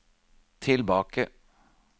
tilbake